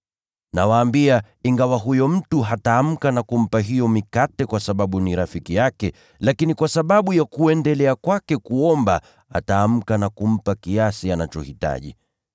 Nawaambia, ingawa huyo mtu hataamka na kumpa hiyo mikate kwa sababu ni rafiki yake, lakini kwa sababu ya kuendelea kwake kuomba, ataamka na kumpa kiasi anachohitaji.